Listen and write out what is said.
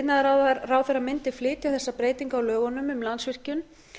iðnaðarráðherra mundi flytja þessa breytingu á lögunum um landsvirkjun